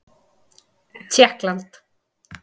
Tékkland